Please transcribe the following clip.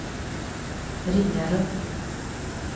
Ringarum